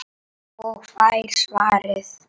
Og fær svarið